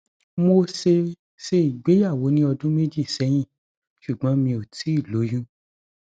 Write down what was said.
mo ṣe ṣe ìgbéyàwó ní ọdún méjì sẹyìn ṣùgbọn mi ò tíì lóyún